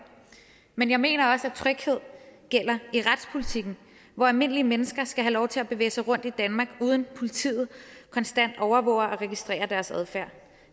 men jeg mener også at tryghed gælder i retspolitikken hvor almindelige mennesker skal have lov til at bevæge sig rundt i danmark uden at politiet konstant overvåger og registrerer deres adfærd